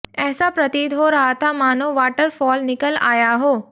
ऐसा प्रतीत हो रहा था मानों वाटर फॉल निकल आया हो